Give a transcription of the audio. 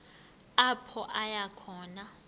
apho aya khona